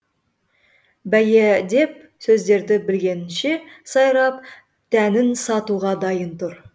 бейәдеп сөздерді білгенінше сайрап тәнін сатуға дайын тұр